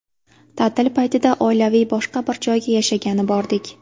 Ta’til paytida oilaviy boshqa bir joyga yashagani bordik.